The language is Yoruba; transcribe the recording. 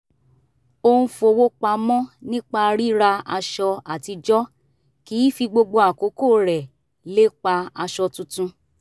ó ń fowó pamọ́ nípa ríra aṣọ àtijọ́ kì í fi gbogbo àkókò rẹ̀ lépa aṣọ tuntun